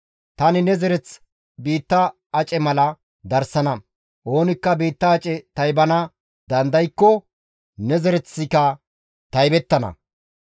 Tani ne zereth biitta ace mala darsana; oonikka biitta ace taybana dandaykko ne zereththika taybettana.